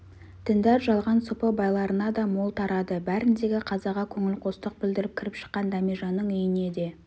діндар жалған сопы байларына да мол тарады бәріндегі қазаға көңілқостық білдіріп кіріп шыққан дәмежанның үйіне де